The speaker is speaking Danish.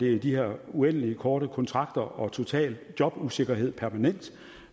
er de her uendelig korte kontrakter og en total jobusikkerhed